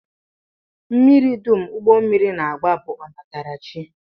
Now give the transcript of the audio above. Mmiri dum ụgbọmmiri na-agba bụ ọnatarachi